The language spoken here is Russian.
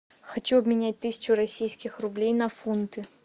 хочу обменять тысячу российских рублей на фунты